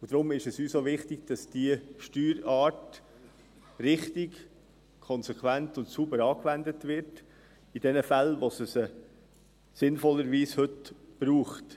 Deshalb ist uns auch wichtig, dass diese Steuerart richtig, konsequent und sauber angewendet wird, in denjenigen Fällen, in denen es sie sinnvollerweise heute braucht.